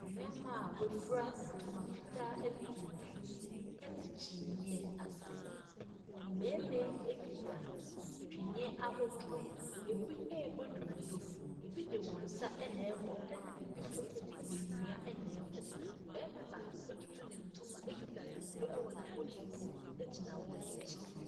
Mmɛma a w'afra ntama fitaa ɛne tuntum ɛte kyiniiɛ ase. Mmɛma yi akita tweneɛ ahorow. Ebi ɛbɔ dondo. Ebi de wɔn nsa na ɛbɔ ɛna ebi nso ɛde nnua na ɛbɔ. Bɛma baako atutu ne ntoma akuta dondo ɛwɔ n'amotuom agyina wɔn akyi.